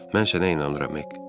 Mən sənə inanıram, Hek.